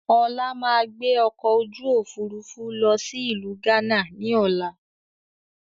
Ọlá máa gbé ọkọ̀ ojú Òfurufú lọ sí ìlú gánà ni ọ̀la